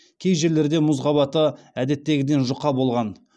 кей жерлерде мұз қабаты әдеттегіден жұқа болған